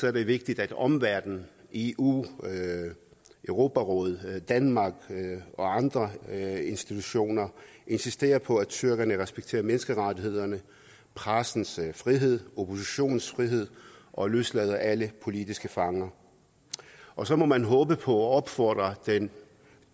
er det vigtigt at omverdenen eu europarådet danmark og andre institutioner insisterer på at tyrkerne respekterer menneskerettighederne pressens frihed oppositionens frihed og løslader alle politiske fanger og så må man håbe på og opfordre den